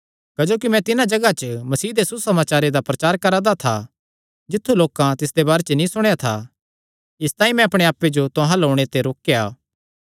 क्जोकि मैं तिन्हां जगांह च मसीह दे सुसमाचारे दा प्रचार करा दा था जित्थु लोकां तिसदे बारे च नीं सुणेया था इसतांई मैं अपणे आप्पे जो तुहां अल्ल ओणे ते रोकेया